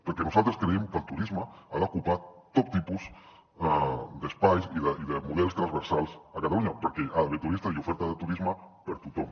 perquè nosaltres creiem que el turisme ha d’ocupar tot tipus d’espais i de models transversals a catalunya perquè hi ha d’haver turistes i oferta de turisme per a tothom